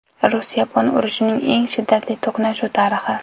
Rus-yapon urushining eng shiddatli to‘qnashuv tarixi.